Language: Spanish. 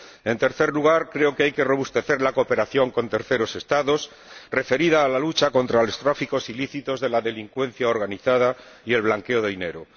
En tercer lugar, creo que hay que robustecer la cooperación con terceros Estados, referida a la lucha contra los tráficos ilícitos de la delincuencia organizada y el blanqueo de dinero.